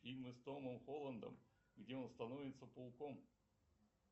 фильмы с томом холландом где он становится пауком